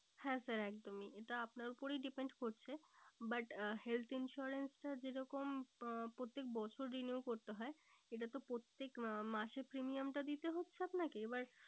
হ্যাঁ sir একদমই এটা আপনার ওপরেই depend করছে but health insurance টা যেরকম আহ প্রত্যেক বছর renew করতে হয় এটা তো প্রত্যেক আহ মাসে premium টা দিতে হচ্ছে আপনাকে এবার